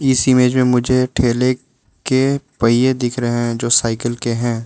इस इमेज में मुझे ठेले के पहिए दिख रहे हैं जो साइकिल के हैं।